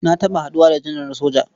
Na taɓa haɗuwa da janar na soja.